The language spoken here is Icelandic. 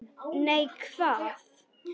Nei, hvað?